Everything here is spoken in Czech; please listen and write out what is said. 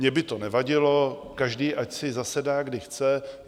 Mně by to nevadilo, každý ať si zasedá, kdy chce.